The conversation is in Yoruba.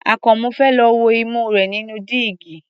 Àkànmú fẹ́ lọ wo imú rẹ̀ nínú dígí.